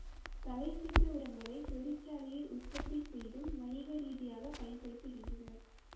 தழைச்சத்து உரங்களை தொழிற்சாலையில் உற்பத்தி செய்தும் வணிக ரீதியாக பயண்படுதுகின்றனர்